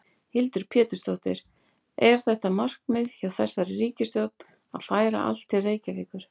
Hildur Pétursdóttir: Er þetta markmið hjá þessari ríkisstjórn að færa allt til Reykjavíkur?